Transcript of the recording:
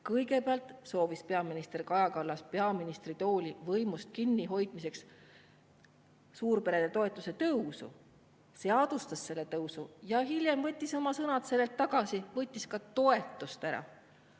Kõigepealt soovis peaminister Kaja Kallas peaministritoolist ja võimust kinnihoidmiseks suurperede toetuse tõusu, seadustas selle tõusu, aga hiljem võttis ta oma sõnad tagasi, võttis ka toetust ära.